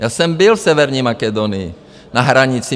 Já jsem byl v Severní Makedonii na hranici.